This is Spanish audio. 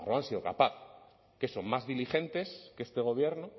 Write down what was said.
nafarroa han sido capaz qué son más diligentes que este gobierno